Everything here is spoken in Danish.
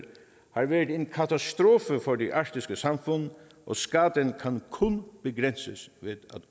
har været en katastrofe for de arktiske samfund og skaden kan kun begrænses ved